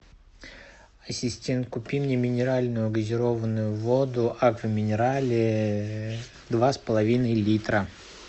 ассистент купи мне минеральную газированную воду аква минерале два с половиной литра